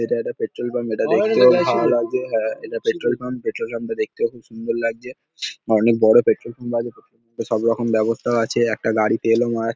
এইটা একটা petrol pump. এটা দেখতে খুব ভাল লাগছে। হ্যাঁ এটা পেট্রোল পাম্প পেট্রোল পাম্প -টা দেখতেও খুব সুন্দর লাগছে। অনেক বড় পেট্রোল পাম্প আছে। পেট্রোল পাম্প -এ সব রকম ব্যাবস্থাও আছে। একটা গাড়ি তেলও মার --